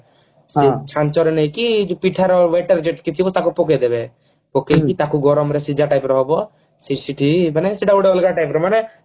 ସେ ଚାଞ୍ଚରେ ନେଇକି ପିଠାର batter ଯେତିକି ଥିବ ତାକୁ ପକେଇଦେବେ ପକେଇକି ତାକୁ ଗରମ ର ସିଝା type ର ହବ ସେ ସେଠି ମାନେ ସେଟା ଗୋଟେ ଅଲଗା type ର ମାନେ